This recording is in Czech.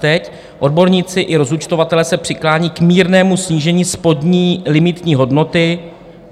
Teď odborníci i rozúčtovatelé se přiklání k mírnému snížení spodní limitní hodnoty.